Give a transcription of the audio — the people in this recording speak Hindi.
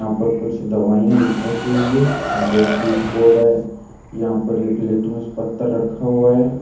यहां पर कुछ दवाइयां ल रखी हुई है यहां पे स्विच बोर्ड है यहां पर एक लिटमस पत्थर रखा हुआ है।